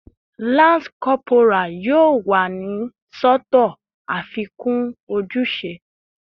Lance corporal yoo wa ni sọtọ afikun ojuse